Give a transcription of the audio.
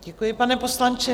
Děkuji, pane poslanče.